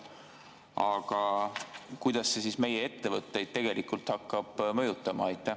Aga kuidas see siis meie ettevõtteid tegelikult hakkab mõjutama?